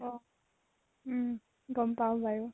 অ উম গম পাও বাৰু।